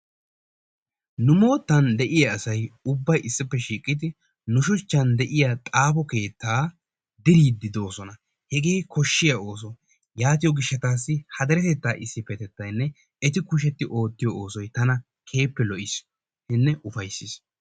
Nu moottan de'iyaa asay ubbay issippe shiiqqidi nu shuuchchan de'iyaa xaafo keettaa diriiddi doosona. Hegee koshshiyaa ooso. Yaatiyoo giishshatassi ha deretettaa issipetettaynne eti kushsheti oottiyoo oosoy tana keehippe lo"eesinne ufayssees.